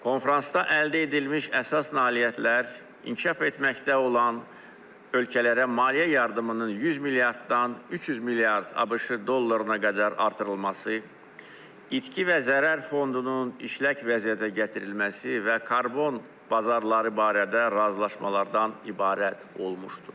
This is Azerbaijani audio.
Konfransda əldə edilmiş əsas nailiyyətlər, inkişaf etməkdə olan ölkələrə maliyyə yardımının 100 milyarddan 300 milyard ABŞ dollarına qədər artırılması, itki və zərər fondunun işlək vəziyyətə gətirilməsi və karbon bazarları barədə razılaşmalardan ibarət olmuşdur.